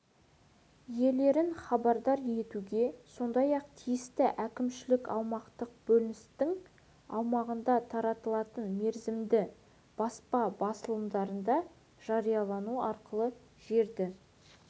иелерін хабардар етуге сондай-ақ тиісті әкімшілік-аумақтық бөліністің аумағында таратылатын мерзімді баспа басылымдарында жариялау арқылы жерді